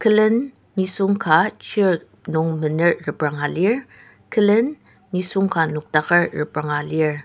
kulen nisung ka chair nung mener repranga lir kulen nisung ka nokdaker repranga lir.